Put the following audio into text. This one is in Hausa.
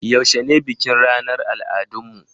Yaushe ne bikin ranar al'adun mu?